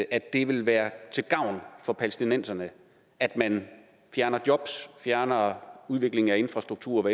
at det vil være til gavn for palæstinenserne at man fjerner jobs fjerner udviklingen af infrastruktur